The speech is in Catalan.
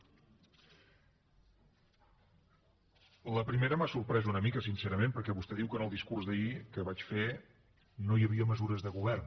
la primera m’ha sorprès una mica sincerament perquè vostè diu que en el discurs d’ahir que vaig fer no hi havia mesures de govern